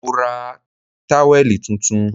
Mo ra táwẹ̀lì tuntun